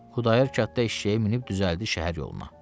Xudayar kənddə eşşəyə minib düzəldi şəhər yoluna.